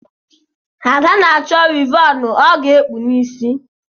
Ada na-achọ wịvọnụ ọ ga-ekpu n’isi ya